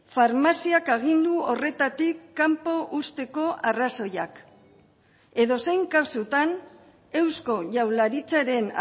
farmaziak agindu horretatik kanpo uzteko arrazoiak edozein kasutan eusko jaurlaritzaren